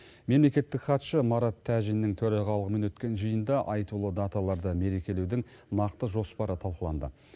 мемлекеттік хатшы марат тәжиннің төрағалығымен өткен жиында айтулы даталарды мерекелеудің нақты жоспары талқыланды